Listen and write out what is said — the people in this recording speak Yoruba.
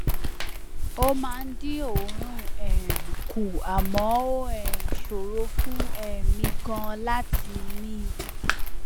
ó máa ń dín òórùn um kù àmọ ó um ṣòro fún um mi ganan láti mí